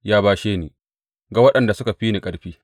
Ya bashe ni ga waɗanda suka fi ni ƙarfi.